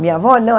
Minha avó, não.